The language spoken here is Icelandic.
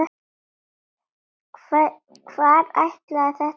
Hvar ætlaði þetta að enda?